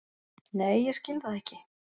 Nei ég skil það ekki.